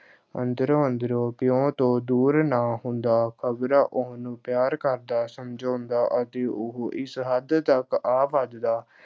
ਅੰਦਰੋਂ-ਅੰਦਰੋਂ ਪਿਉ ਤੋਂ ਦੂਰ ਨਾ ਹੁੰਦਾ, ਖ਼ਬਰਾ ਉਹਨੂੰ ਪਿਆਰ ਕਰਦਾ, ਸਮਝਾਉਂਦਾ ਅਤੇ ਉਹ ਇਸ ਹੱਦ ਤੱਕ ਆ ਵਧਦਾ,